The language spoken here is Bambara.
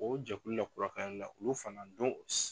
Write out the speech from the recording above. O jɛkulu in na fana .